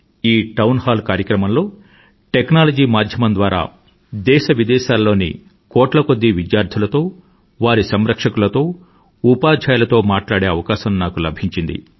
ఈ town hall కార్యక్రమంలో technology మాధ్యమం ద్వారా దేశవిదేశాలలోని కోట్ల కొద్దీ విద్యార్థులతో వారి సంరక్షకులతో ఉపాధ్యాయులతో మాట్లాడే అవకాశం నాకు లభించింది